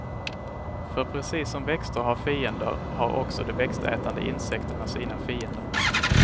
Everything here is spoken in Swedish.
För precis som växter har fiender har också de växtätande insekterna sina fiender.